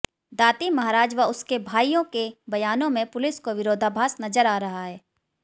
दाती महाराज व उसके भाइयों के बयानों में पुलिस को विरोधाभास नजर आ रहा है